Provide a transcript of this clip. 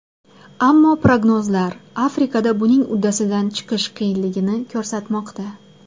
Ammo prognozlar Afrikada buning uddasidan chiqish qiyinligini ko‘rsatmoqda.